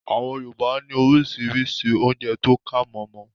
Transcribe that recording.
Àwọn Yorùbá ní orísirísi oúnjẹ tó kàmọ̀mọ̀